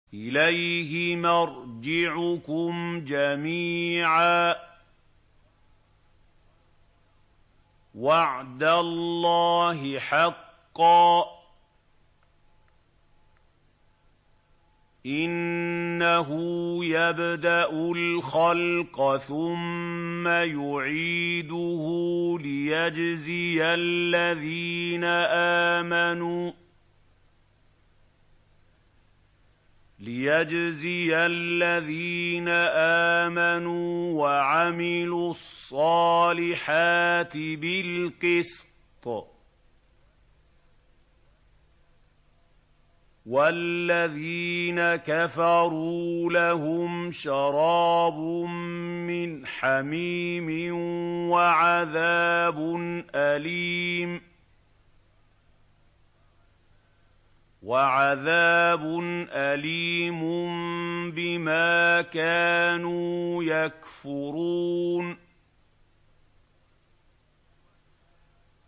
إِلَيْهِ مَرْجِعُكُمْ جَمِيعًا ۖ وَعْدَ اللَّهِ حَقًّا ۚ إِنَّهُ يَبْدَأُ الْخَلْقَ ثُمَّ يُعِيدُهُ لِيَجْزِيَ الَّذِينَ آمَنُوا وَعَمِلُوا الصَّالِحَاتِ بِالْقِسْطِ ۚ وَالَّذِينَ كَفَرُوا لَهُمْ شَرَابٌ مِّنْ حَمِيمٍ وَعَذَابٌ أَلِيمٌ بِمَا كَانُوا يَكْفُرُونَ